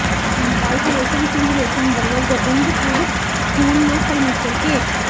ਗਾਇਕ ਰੇਸ਼ਮ ਸਿੰਘ ਰੇਸ਼ਮ ਵਲੋਂ ਗੋਬਿੰਦਪੁਰ ਸਕੂਲ ਨੂੰ ਫ਼ਰਨੀਚਰ ਭੇਟ